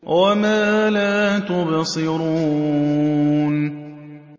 وَمَا لَا تُبْصِرُونَ